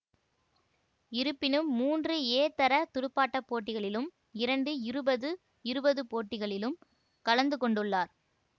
இருப்பினும் மூன்று ஏதர துடுப்பாட்ட போட்டிகளிலும் இரண்டு இருபது இருபது போட்டிகளிலும் கலந்து கொண்டுள்ளார்